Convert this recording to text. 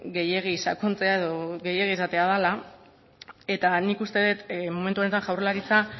gehiegi sakontzea edo gehiegi esatea dela eta nik uste dut momentu honetan jaurlaritza